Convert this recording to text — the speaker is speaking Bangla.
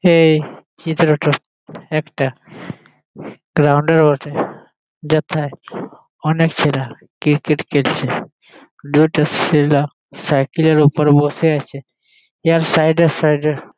এই চিত্রটো একটা গ্রাউন্ড এর বটে যথায় অনেক ছেলা ক্রিকেট খেলছে দুইটো ছেলা সাইকেল এর ওপর বসে আছে। এর সাইড - এ সাইড - এ--